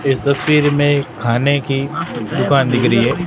इस तस्वीर में खाने की दुकान दिख रही है।